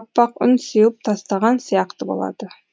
аппақ үн сеуіп тастаған сияқты болады